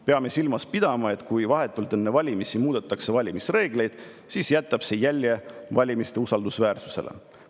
Peame silmas pidama, et kui vahetult enne valimisi muudetakse valimisreegleid, siis jätab see jälje valimiste usaldusväärsusele.